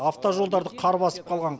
автожолдарды қар басып қалған